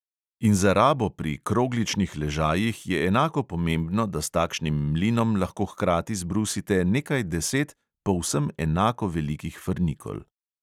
In za rabo pri krogličnih ležajih je enako pomembno, da s takšnim mlinom lahko hkrati zbrusite nekaj deset povsem enako velikih frnikol.